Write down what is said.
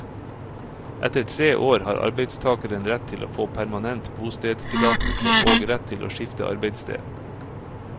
Etter tre år har arbeidstageren rett til å få permanent bostedstillatelse og rett til å skifte arbeidssted.